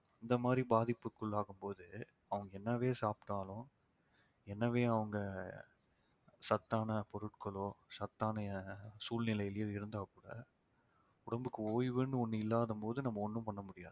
இந்த மாதிரி பாதிப்புக்குள்ளாகும்போது அவங்க என்னவே சாப்பிட்டாலும் என்னவே அவங்க சத்தான பொருட்களோ சத்தான சூழ்நிலையிலே இருந்தால் கூட உடம்புக்கு ஓய்வுன்னு ஒண்ணு இல்லாத போது நம்ம ஒண்ணும் பண்ண முடியாது